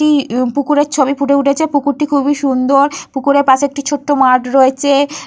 একটি পুকুরের ছবি ফুটে উঠেছে পুকুরটি খুবই সুন্দর। পুকুরের পাশে একটি ছোট মাঠ রয়েছে।